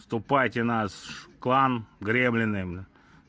в ступайте в наш клан гремлины бля